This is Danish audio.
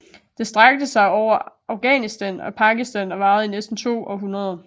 Det strakte sig over Afghanistan og Pakistan og varede i næsten to århundreder